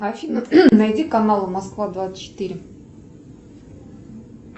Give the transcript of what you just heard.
афина найди канал москва двадцать четыре